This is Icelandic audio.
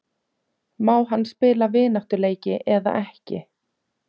Má hann spila vináttuleiki eða ekki?